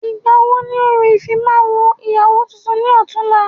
Ìgbà wo ni orò ìfimawo ìyàwó tuntun ni ọ̀túla?